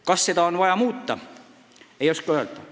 Kas seda on vaja muuta, ei oska öelda.